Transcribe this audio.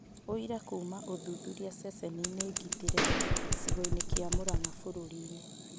ũira kuuma ũthuthuria ceceninĩ ngĩtĩre gĩcigoinĩ kĩa Mũrang'a bũrũri-inĩ